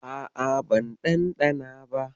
A'a, ban ɗanɗana ba.